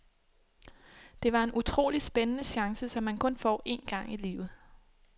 Det var en utrolig spændende chance, som man kun får en gang i livet.